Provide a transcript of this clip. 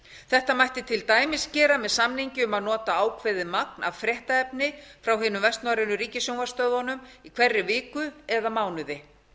þetta mætti til dæmis gera með samningi um að nota ákveðið magn af fréttaefni frá hinum vestnorrænu ríkissjónvarsstöðvum í hverri viku eða mánuði